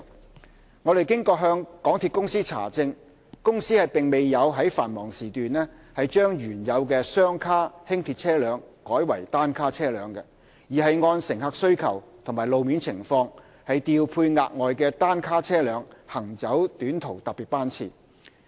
經我們向港鐵公司查證，港鐵公司並沒有於繁忙時段將原有的雙卡輕鐵車輛改為單卡車輛，而是按乘客需求及路面情況，調配額外的單卡車輛行走短途特別班次。